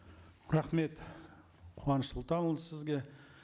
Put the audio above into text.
рахмет қуаныш сұлтанұлы сізге